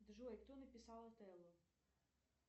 джой кто написал отелло